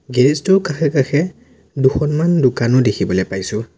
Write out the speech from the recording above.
গেৰেজটোৰ কাষে কাষে দুখনমান দোকানো দেখিবলৈ পাইছোঁ।